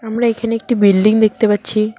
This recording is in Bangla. আমরা এখানে একটি বিল্ডিং দেখতে পাচ্ছি।